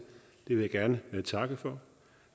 vil jeg gerne takke for